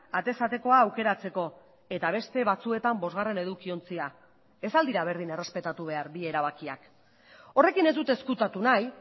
atez atekoa aukeratzeko eta beste batzuetan bosgarren edukiontzia ez al dira berdin errespetatu behar bi erabakiak horrekin ez dut ezkutatu nahi